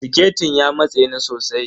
Siketin ya matse ni sosai.